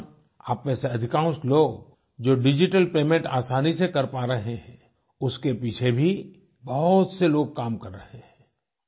इस दौरानआप में से अधिकांश लोग जो डिजिटल पेमेंट आसानी से कर पा रहे हैं उसके पीछे भी बहुत से लोग काम कर रहे हैं